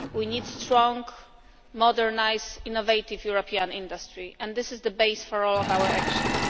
We need strong, modernised and innovative European industry, and this is the basis for all of our actions.